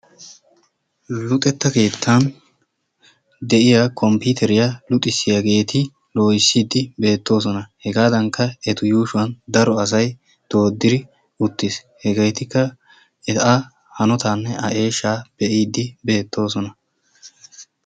Luxetta keettan deiya kompiteriya luxisiyageeti loohisidi beetosona. Hegadankka etu yuushuwan daro asay doodidi-uttiis. Hegetikka hegaa hanotane a eshsha beidi bettoosona.